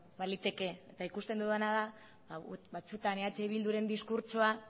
baliteke eta ikusten dudana da batzutan eh bilduren diskurtsoa